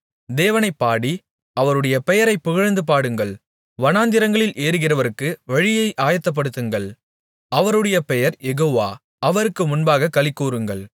தேவனைப் பாடி அவருடைய பெயரைப் புகழ்ந்து பாடுங்கள் வனாந்திரங்களில் ஏறிவருகிறவருக்கு வழியை ஆயத்தப்படுத்துங்கள் அவருடைய பெயர் யெகோவா அவருக்கு முன்பாகக் களிகூருங்கள்